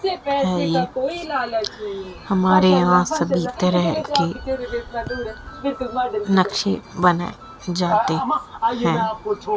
हैं हमारे यहां सभी तरह के नक्शे बनाए जाते हैं।